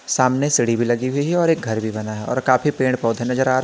सामने सीढ़ी भी लगी हुई है और एक घर भी बना है और काफी पेड़ पौधे भी नजर आ रहे --